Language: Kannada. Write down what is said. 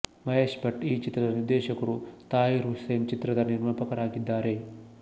ಮಹೇಶ್ ಭಟ್ ಈ ಚಿತ್ರದ ನಿರ್ದೇಶಕರು ತಾಹಿರ್ ಹುಸೇನ್ ಚಿತ್ರದ ನಿರ್ಮಾಪಕರಾಗಿದ್ದಾರೆ